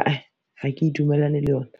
ae ha ke dumellane le yona.